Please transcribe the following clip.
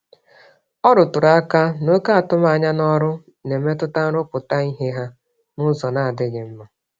Ọ rụtụrụ aka na oké atụm ányá n'ọrụ n'emetụta nrụpụta ìhè ha nụzọ n'adịghị mma